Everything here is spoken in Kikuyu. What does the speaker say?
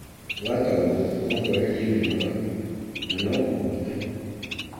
wa tombo no kũeherie mĩnoga na no kũhote